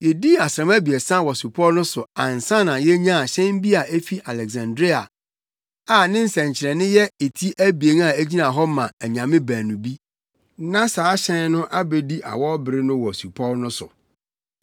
Yedii asram abiɛsa wɔ supɔw no so ansa na yenyaa hyɛn bi a efi Aleksandria a ne nsɛnkyerɛnne yɛ eti abien a egyina hɔ ma anyame baanu bi. Na saa hyɛn no abedi awɔwbere no wɔ supɔw no so.